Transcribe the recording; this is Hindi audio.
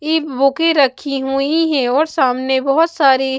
की बुकें रखी हुई हैं और सामने बहुत सारी--